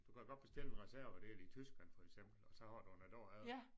Du kan godt bestille en reservedel i Tyskland for eksempel og så har du den æ dag efter